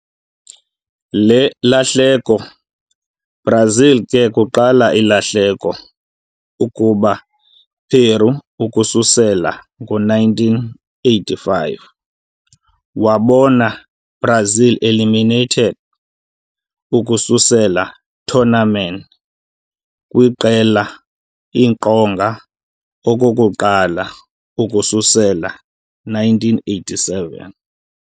Le lahleko, Brazil ke kuqala ilahleko ukuba Peru ukusukela ngo-1985, wabona Brazil eliminated ukususela tournament kwiqela iqonga okokuqala ukususela 1987.